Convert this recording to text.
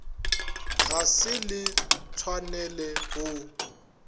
ga se le tshwanele go